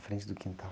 Frente do quintal.